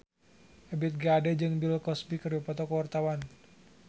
Ebith G. Ade jeung Bill Cosby keur dipoto ku wartawan